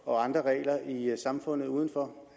og andre regler i samfundet uden for